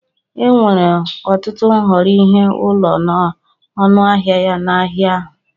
Enwere ọtụtụ nhọrọ ihe ụlọ na ọnụ ahịa ya n'ahịa ahu.